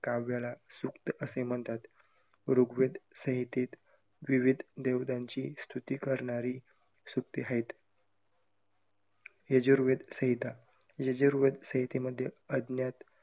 काव्याला सूक्त असे म्हणतात. ऋग्वेद संहितेत विविध देवतांची स्तुति करणारी सूक्ते आहेत. यजुर्वेद संहिता, यजुर्वेद संहितेमध्ये अज्ञात